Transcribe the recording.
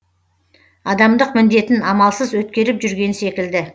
адамдық міндетін амалсыз өткеріп жүрген секілді